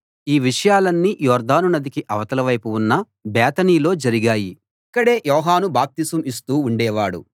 ఈ విషయాలన్నీ యొర్దాను నదికి అవతల వైపు ఉన్న బేతనీలో జరిగాయి ఇక్కడే యోహాను బాప్తిసం ఇస్తూ ఉండేవాడు